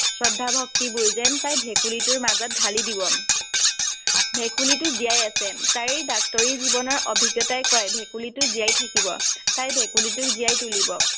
শ্ৰদ্ধা-ভক্তিবোৰ যেন তাই ভেকুলীটোৰ মাজত ধালি দিব। ভেকুলীটো জিয়াই আছে, তাইৰ ডাক্তৰি জীৱনৰ অভিজ্ঞতাই কয়, ভেকুলীটো জিয়াই থাকিব, তাই ভেকুলীটোক জিয়াই তুলিব।